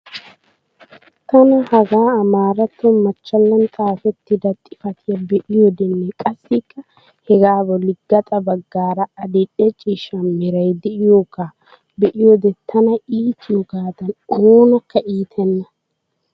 Tana hagaa amaaratto machchallan xaafettida xifatiyaa be'iyodenne qassikka hegaa bolli gaxa baggaara adil"e ciishsha meray de'iyoogaa be'iyoode tana iitiyoogadan oonakka iitenna.